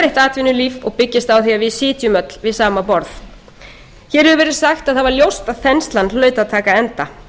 atvinnulíf og byggist á því að við sitjum öll við sama borð hér hefur verið sagt að það var ljóst að þenslan hlaut að taka enda